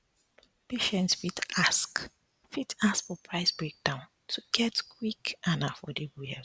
patients fit ask fit ask for price breakdown to get quick and affordable healthcare